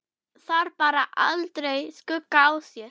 Þar bar aldrei skugga á.